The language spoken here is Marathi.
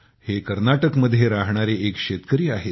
हे कर्नाटकमध्ये राहणारे एक शेतकरी आहेत